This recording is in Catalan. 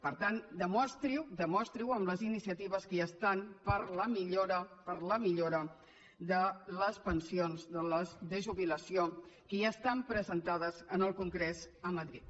per tant demostri ho demostri ho amb les iniciatives per a la millora per a la millora de les pensions de jubilació que ja estan presentades en el congrés a madrid